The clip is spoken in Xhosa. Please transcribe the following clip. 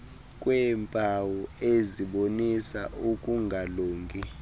kweempawu ezibonisa ukungalungi